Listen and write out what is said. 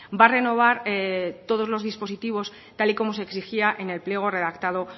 va a renovar todos los dispositivos tal y como se exigía en el pliego redactado